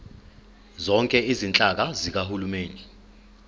zonke izinhlaka zikahulumeni